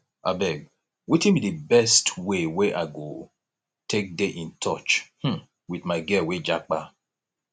abeg wetin be di best way wey i go take dey in touch um with my girl wey japa